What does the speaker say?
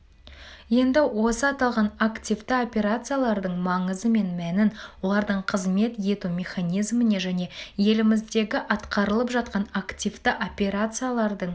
енді осы аталған активті операциялардың маңызы мен мәнін олардың қызмет ету механизміне және еліміздегі атқарылып жатқан активті операциялардың